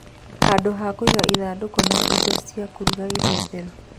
Handũ ha kũiga ithandũkũ na indo cia kũruga irĩ theru.